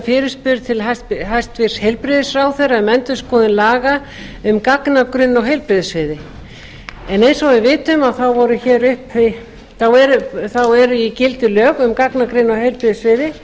fyrirspurn til hæstvirts heilbrigðisráðherra um endurskoðun laga um gagnagrunn á heilbrigðissviði en eins og við vitum eru í gildi lög um gagnagrunn á heilbrigðissviði